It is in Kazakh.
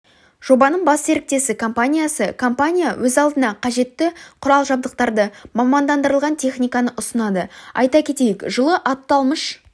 жобаның бас серіктесі компаниясы компания өз алдына қажетті құрал-жабдықтарды мамандандырылған техниканы ұсынады айта кетейік жылы аталмыш